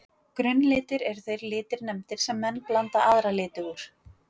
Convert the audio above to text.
Grunnlitir eru þeir litir nefndir sem menn blanda aðra liti úr.